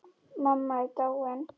Mamma er dáin.